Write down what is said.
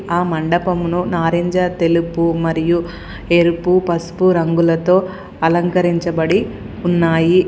ఆ మండపమును నారింజ తెలుపు మరియు ఎరుపు పసుపు రంగులతో అలంకరించబడి ఉన్నాయి.